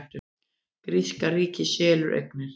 Gríska ríkið selur eignir